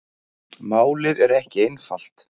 Málið er ekki einfalt.